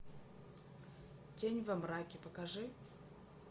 тень во мраке покажи